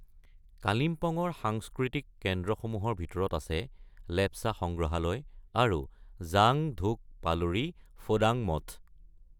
কালিমপঙৰ সাংস্কৃতিক কেন্দ্ৰসমূহৰ ভিতৰত আছে, লেপচা সংগ্ৰহালয় আৰু জাং ধোক পালৰি ফোডাং মঠ।